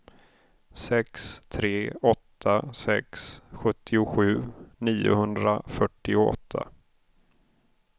sex tre åtta sex sjuttiosju niohundrafyrtioåtta